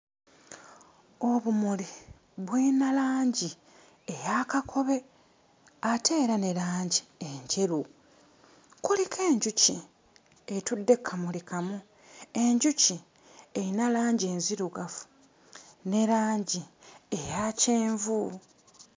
Obumuli buyina langi eya kakobe, ate era ne langi enjeru. Kuliko enjuki etudde ku kamuli kamu; enjuki erina langi enzirugavu ne langi eya kyenvu.